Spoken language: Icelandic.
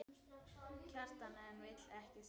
Kjartan en vildi ekki skilja.